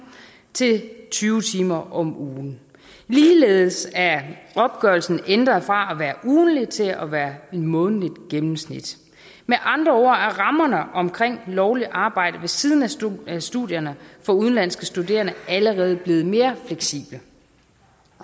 til tyve timer om ugen ligeledes er opgørelsen ændret fra at være ugentlig til at være et månedligt gennemsnit med andre ord er rammerne omkring lovligt arbejde ved siden af studierne studierne for udenlandske studerende allerede blevet mere fleksible